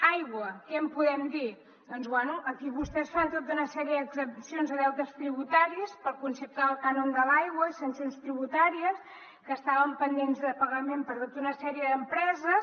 aigua què en podem dir doncs bé aquí vostès fan tota una sèrie d’exempcions de deutes tributaris pel concepte del cànon de l’aigua i sancions tributàries que estaven pendents de pagament per tota una sèrie d’empreses